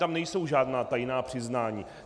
Tam nejsou žádná tajná přiznání.